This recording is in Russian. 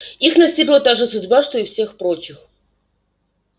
их настигла та же судьба что и всех прочих